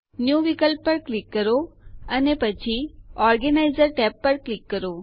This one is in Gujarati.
ન્યૂ વિકલ્પ પર ક્લિક કરો અને પછી ઓર્ગેનાઇઝર ટેબ પર ક્લિક કરો